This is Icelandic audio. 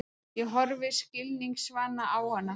Ég horfi skilningsvana á hana.